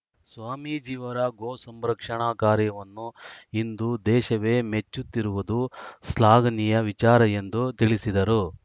ಸ್ವಾಮಿಜಿಯವರ ಗೋಸಂರಕ್ಷಣಾ ಕಾರ್ಯವನ್ನು ಇಂದು ದೇಶವೇ ಮೆಚ್ಚುತ್ತಿರುವುದು ಶ್ಲಾಘನೀಯ ವಿಚಾರ ಎಂದು ತಿಳಿಸಿದರು